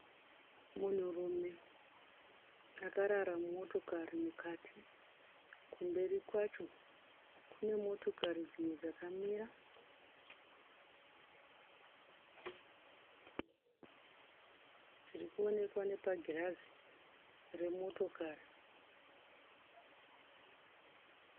Munhurume akarara mumotokari mukati. Kumberi kwacho kune motokari dzimwe dzakamira dziri kuonekwa nepagirazi remotokari.